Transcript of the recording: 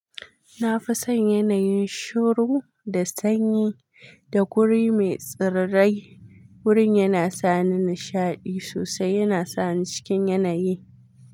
Na fi son yanayin shuru da sanyi da guri mai tsirrai. Wurin yana sa ni nishaɗi sosai, yana sa ni cikin yanayi.